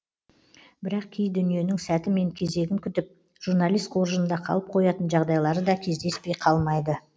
бірақ кей дүниенің сәті мен кезегін күтіп журналист қоржынында қалып қоятын жағдайлары да кездеспей қалмайды